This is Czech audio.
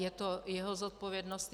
Je to jeho zodpovědnost.